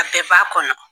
A bɛɛ b'a kɔnɔ